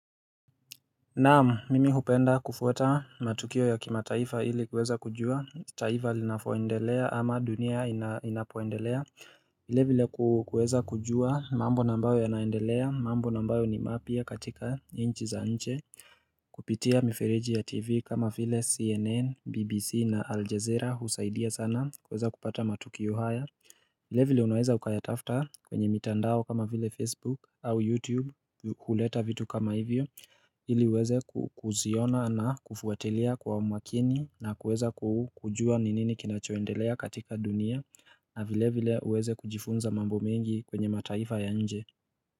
Naam mimi hupenda kufuata matukio ya kimataifa ili kuweza kujua taifa linavoendelea ama dunia inapoaendelea vile vile kuweza kujua mambo na ambayo yanaendelea mambo na ambayo ni mapya katika nchi za nje Kupitia miferiji ya tv kama vile cnn bbc na aljezera husaidia sana kuweza kupata matukio haya vile vile unaweza ukayatafuta kwenye mitandao kama vile facebook au youtube huleta vitu kama hivyo ili uweze ku kuziona na kufuatilia kwa umakini na kuweza ku kujua ni nini kinachoendelea katika dunia na vile vile uweze kujifunza mambo mengi kwenye mataifa ya nje.